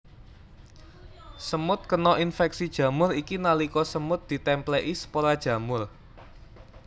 Semut kena infeksi jamur iki nalika semut ditèmplèki spora jamur